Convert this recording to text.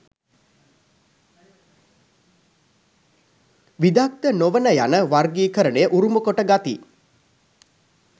විදග්ධ නොවන යන වර්ගීකරණය උරුමකොට ගති.